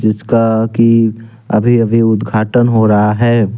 जिसका की अभी अभी उद्घाटन हो रहा है।